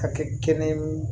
A kɛ kɛnɛ